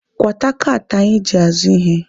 Kwata kaatị anyị ji azụ ihe!